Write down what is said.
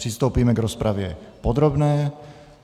Přistoupíme k rozpravě podrobné.